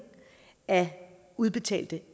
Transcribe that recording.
af udbetalte